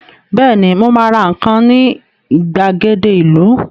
Bẹ́ẹ̀ni, mo ma ra nǹkan ní ìgbàgede ìlú